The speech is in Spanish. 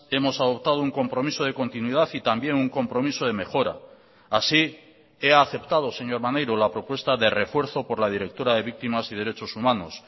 hemos adoptado un compromiso de continuidad y también un compromiso de mejora así he aceptado señor maneiro la propuesta de refuerzo por la directora de víctimas y derechos humanos